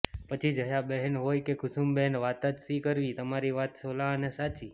પછી જયાબહેન હોય કે કુસુમબહેન વાત જ શી કરવી તમારી વાત સોલા આને સાચી